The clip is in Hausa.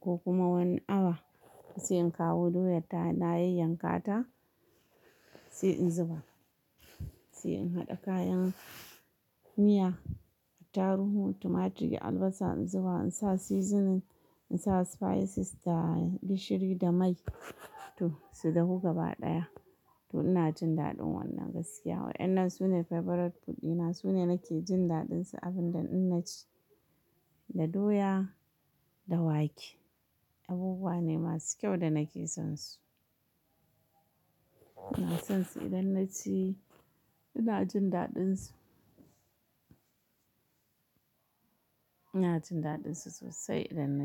ko kuma wani awa sai in kawo doyar tawa na yayyanka ta, sai in zuba sai in haɗa kayan miya attaruhu, tumaturi, albasa in zuba insa seasoning, insa spices da gishiri da mai. To su dahu gaba ɗaya to inajin daɗin wannan gaskiya wai. Wainnan sune favourite food dina sune nake jin daɗinsu abinda in naci. Da doya da wake, abubuwa ne masu kyau da nake sonsu. Ina son su idan na ci ina jin daɗin su. Ina jin daɗin su sosai idan naci.